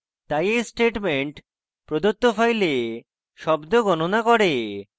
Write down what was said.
তাই এই statement প্রদত্ত file শব্দ গণনা করে